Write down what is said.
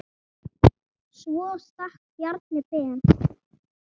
Svo stakk Bjarni Ben.